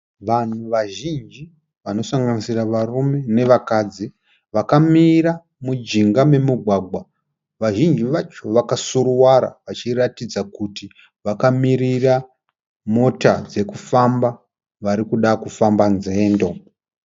Vanhu vazhinji vanosanganisira varume nevakadzi vakamira mujinga memugwagwa. Vazhinji vacho vakasuruwara vachiratidza kuti vakamirira mota dzekufamba. Varikuda kufamba nzendo.